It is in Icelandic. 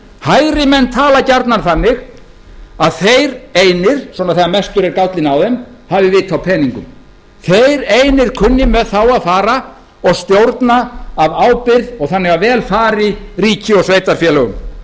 hægrimenn tala gjarnan þannig að þeir einir svona þegar mestur er gállinn á þeim hafi vit á peningum þeir einir kunni með þá að fara og stjórna af ábyrgð og þannig að vel fari ríki og sveitarfélögum